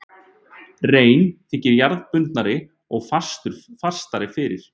Rein þykir jarðbundnari og fastari fyrir.